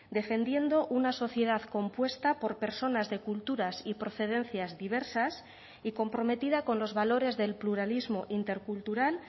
defendiendo una sociedad compuesta por personas de culturas y procedencias diversas y comprometida con los valores del pluralismo intercultural